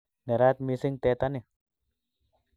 Nerat mising tetani